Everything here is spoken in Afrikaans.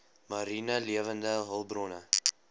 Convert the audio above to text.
mariene lewende hulpbronne